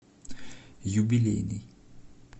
юбилейный